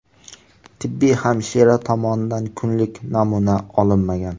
Tibbiy hamshira tomonidan kunlik namuna olinmagan.